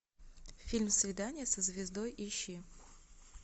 фильм свидание со звездой ищи